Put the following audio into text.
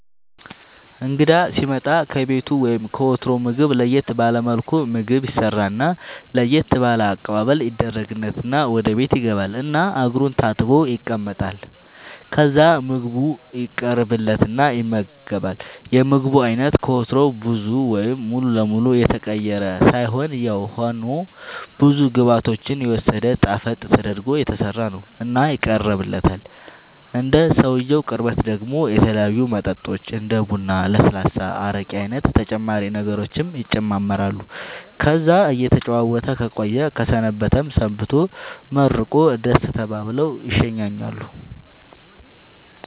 እንግዳ ሢመጣ ከቤቱ ወይም ከወትሮው ምግብ ለየት ባለ መልኩ ምግብ ይሰራና ለየት ባለ አቀባበል ይደረግለትና ወደ ቤት ይገባል እና እግሩን ታጥቦ ይቀመጣል ከዛ ምግቡ ይቀርብለትና ይመገባል የምግቡ አይነት ከወትሮው ብዙ ወይም ሙሉ ለመሉ የተቀየረ ሳይሆንያው ሆኖ ብዙ ግብዓቶችን የወሰደ ጣፈጥ ተደርጎ የተሠራ ነው እና ይቀርብለታል እንደ ሰውየው ቅርበት ደሞ የተለያዩ መጠጦች እንደ ቡራ ለስላሳ አረቄ አይነት ተጨማሪ ነገሮችም ይጨማመራሉ ከዛ እየተጨዋወተ ከቆየ ከሰነበተም ሰንብቶ መርቆ ደሥ ተባብለው ይሸኛኛሉ